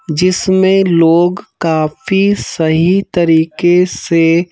जिसमें लोग काफी सही तरीके से--